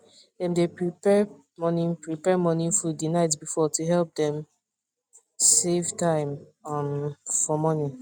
dem dae prepare morning prepare morning food the night before to help them save time um for morning